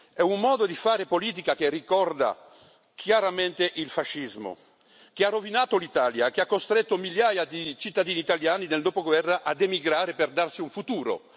È un modo di fare politica che ricorda chiaramente il fascismo, che ha rovinato l'Italia, che ha costretto migliaia di cittadini italiani del dopoguerra ad emigrare per darsi un futuro.